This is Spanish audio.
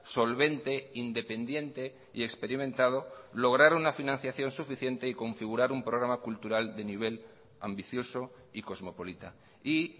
solvente independiente y experimentado lograr una financiación suficiente y configurar un programa cultural de nivel ambicioso y cosmopolita y